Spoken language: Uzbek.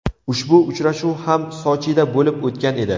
Ushbu uchrashuv ham Sochida bo‘lib o‘tgan edi.